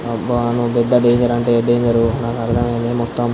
అబ్బా నువ్వు పెద్ద డేంజర్ అంటే డేంజర్ నాకు అర్థమైంది మొత్తం.